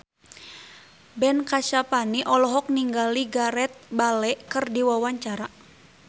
Ben Kasyafani olohok ningali Gareth Bale keur diwawancara